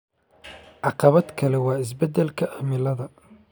Caqabad kale waa isbedelka cimilada